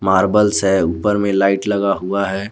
Marbles है ऊपर में लाइट लगा हुआ है।